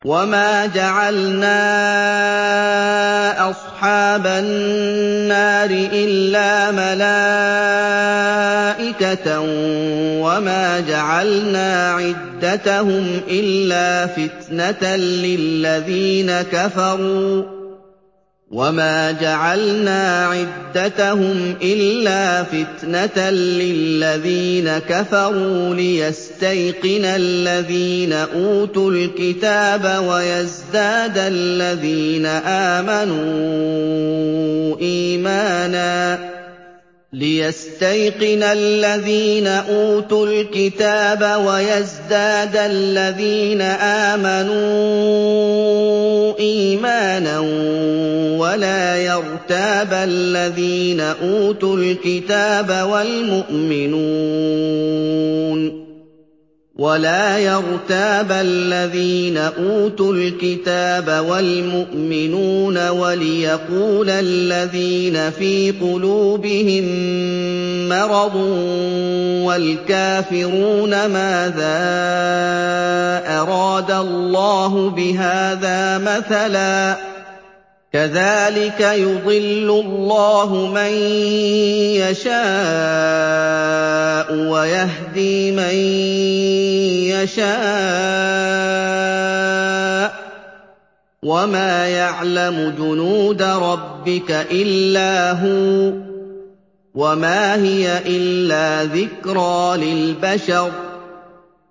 وَمَا جَعَلْنَا أَصْحَابَ النَّارِ إِلَّا مَلَائِكَةً ۙ وَمَا جَعَلْنَا عِدَّتَهُمْ إِلَّا فِتْنَةً لِّلَّذِينَ كَفَرُوا لِيَسْتَيْقِنَ الَّذِينَ أُوتُوا الْكِتَابَ وَيَزْدَادَ الَّذِينَ آمَنُوا إِيمَانًا ۙ وَلَا يَرْتَابَ الَّذِينَ أُوتُوا الْكِتَابَ وَالْمُؤْمِنُونَ ۙ وَلِيَقُولَ الَّذِينَ فِي قُلُوبِهِم مَّرَضٌ وَالْكَافِرُونَ مَاذَا أَرَادَ اللَّهُ بِهَٰذَا مَثَلًا ۚ كَذَٰلِكَ يُضِلُّ اللَّهُ مَن يَشَاءُ وَيَهْدِي مَن يَشَاءُ ۚ وَمَا يَعْلَمُ جُنُودَ رَبِّكَ إِلَّا هُوَ ۚ وَمَا هِيَ إِلَّا ذِكْرَىٰ لِلْبَشَرِ